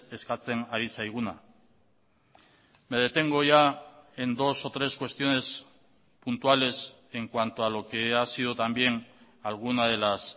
eskatzen ari zaiguna me detengo ya en dos o tres cuestiones puntuales en cuanto a lo que ha sido también alguna de las